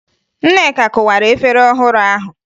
Nneka kụwara efere ọhụrụ ahụ